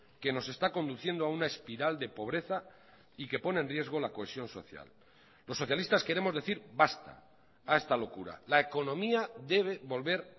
que nos está conduciendo a una espiral de pobreza y que pone en riesgo la cohesión social los socialistas queremos decir basta a esta locura la economía debe volver